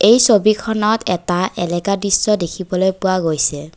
এই ছবিখনত এটা এলেকা দৃশ্য দেখিবলৈ পোৱা গৈছে।